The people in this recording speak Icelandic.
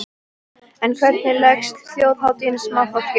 En hvernig leggst þjóðhátíðin í smáfólkið?